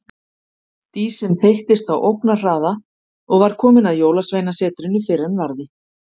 Dísin þeyttist á ógnarhraða og var komin að Jólasveinasetrinu fyrr en varði.